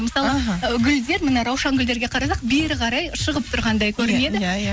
мысалы іхі ы гүлдер міне раушан гүлдерге қарасақ бері қарай шығып тұрғандай көрінеді иә иә